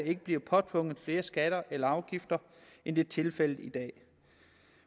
ikke bliver påtvunget flere skatter eller afgifter end det er tilfældet i dag